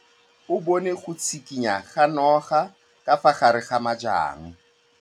O bone go tshikinya ga noga ka fa gare ga majang.